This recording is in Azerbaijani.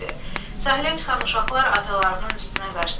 Sahilə çıxan uşaqlar atalarının üstünə qaçdılar.